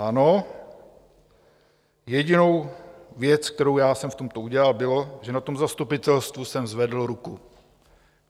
Ano, jedinou věc, kterou jsem já v tomto udělal, bylo, že na tom zastupitelstvu jsem zvedl ruku.